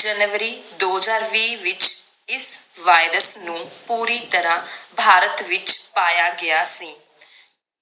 ਜਨਵਰੀ ਦੋ ਹਜਾਰ ਵੀ ਵਿਚ ਇਸ virus ਨੂੰ ਪੂਰੀ ਤਰਾਹ ਭਾਰਤ ਵਿਚ ਪਾਇਆ ਗਿਆ ਸੀ